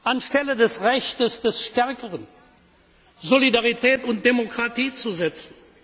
Anstelle des Rechts des Stärkeren Solidarität und Demokratie zu setzen.